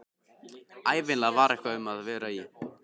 Ævinlega var eitthvað um að vera í